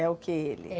É o que ele?